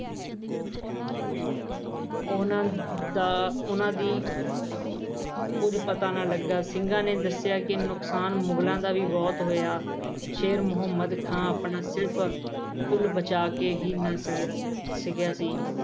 ਉਹਨਾਂ ਦਾ ਉਹਨਾਂ ਦੀ ਕੁਝ ਪਤਾ ਨਾ ਲੱਗਾ ਸਿੰਘਾ ਨੇ ਦੱਸਿਆ ਕਿ ਨੁਕਸਾਨ ਮੁਗਲਾਂ ਦਾ ਵੀ ਬਹੁਤ ਹੋਇਆ। ਸੇਰ ਮਹੁਮੰਦ ਖਾਂ ਆਪਣਾ ਸਿਰਫ ਫੁੱਲ ਬਚਾ ਕੇ ਹੀ ਨੱਸ ਗਿਆ ਸੀ।